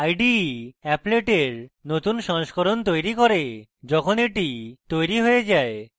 ide applet এর নতুন সংস্করণ তৈরী করে যখন এটি তৈরী হয়ে যায়